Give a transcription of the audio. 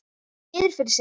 Horfði niður fyrir sig.